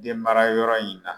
Denmarayɔrɔ in na